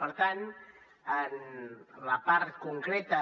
per tant en la part concreta